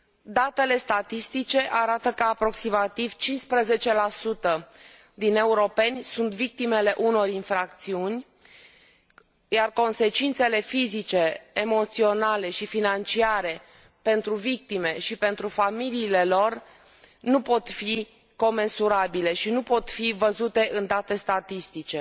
Datele statistice arată că aproximativ 15 dintre europeni sunt victimele unor infracțiuni, iar consecințele fizice, emoționale și financiare pentru victime și pentru familiile lor nu pot fi comensurabile și nu pot fi văzute în date statistice.